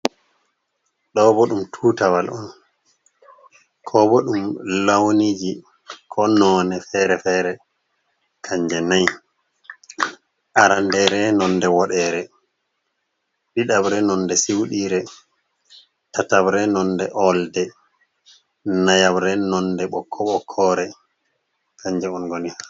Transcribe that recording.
Ɗo bo ɗum tuutawal on, ko bo ɗum lawniji ko noone fere-fere kanje nayi, aranndeere nonde woɗeere, ɗiɗabre nonde siwɗiire, tatabre nonde olde, nayabre nonde ɓokko ɓokkoore kanje on ngoni.